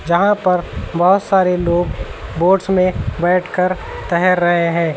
जहां पर बोहोत सारे लोग बोट्स में बैठकर तेहर रहे हैं।